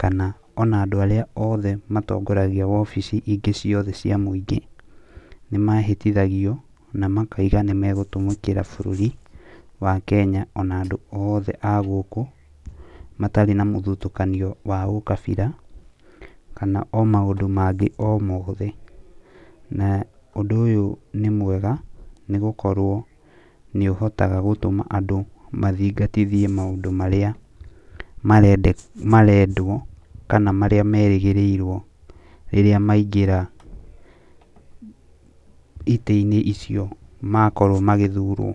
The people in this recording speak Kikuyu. kana ona andũ arĩa othe matongoragia wobici ingĩ ciothe cia mũingĩ. Nĩmehĩtithagio na makauga nĩmegũtũmĩkĩra bũrũri wa Kenya ona andũ oothe a gũkũ, matarĩ ya mũthutũkanio wa ũkabira, kana o maũndũ mangĩ o mothe. Na ũndũ ũyũ nĩ mwega, nĩgũkorwo nĩũhotaga gũtũma andũ mathingatithie maũndũ marĩa marendwo kana marĩa merĩgĩrĩirwo rĩrĩa maingĩra itĩ-inĩ icio makorwo magĩthurwo.